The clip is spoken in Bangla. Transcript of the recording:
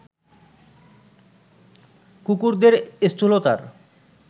কুকুরদের স্থূলতার